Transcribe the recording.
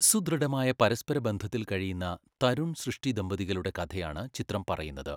സുദൃഢമായ പരസ്പരബന്ധത്തിൽ കഴിയുന്ന തരുൺ, സൃഷ്ടി ദമ്പതികളുടെ കഥയാണ് ചിത്രം പറയുന്നത്.